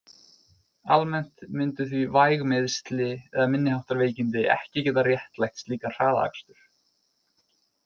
Almennt myndu því væg meiðsli eða minniháttar veikindi ekki geta réttlætt slíkan hraðakstur.